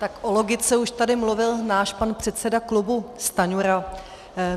Tak o logice už tady mluvil náš pan předseda klubu Stanjura.